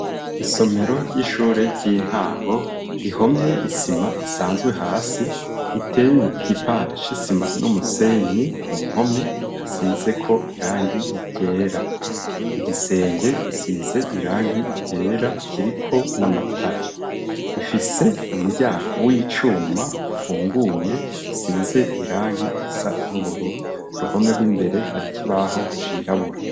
Isomero ry'ishure ry'intango ihomye isima isanzwe hasi iteye igipande c'isima n'umusenyi ku mpome hasizeko irangi ryera igisenge gisize irangi ryera kiriko n'amatara, Ifise umuryango w'icuma ufunguye usize irangi risa n'ubururu ku ruhome rw'imbere hari ikibaho cirabura.